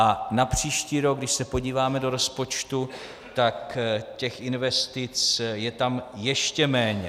A na příští rok, když se podíváme do rozpočtu, tak těch investic je tam ještě méně.